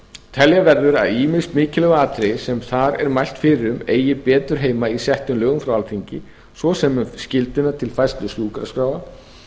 telja verður að ýmis mikilvæg atriði sem þar er mælt fyrir um eigi betur heima í settum lögum frá alþingi svo sem um skylduna til færslu sjúkraskráa